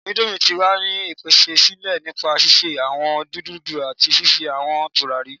indomie ti wa ni pese sile nipa sise awọn nudulú ati fifi awọn turari